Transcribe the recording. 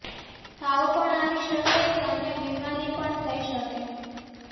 તાવ પણ આવી શકે કે અન્ય બીમારી પણ થઈ શકે